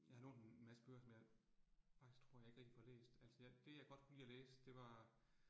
Jeg har lånt en masse bøger, som faktisk tror, jeg ikke rigtig får læst, altså jeg, det jeg godt kunne lide at læse det var